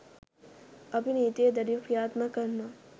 අපි නීතිය දැඩිව ක්‍රියාත්මක කරනවා.